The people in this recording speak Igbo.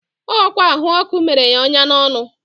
ọ kwa ahụ ọkụ mere ya onya n'ọnụ.